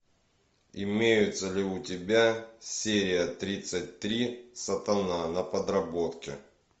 имеется ли у тебя серия тридцать три сатана на подработке